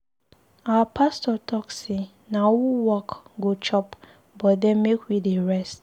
Our pastor talk say na who work go chop but den make we dey rest.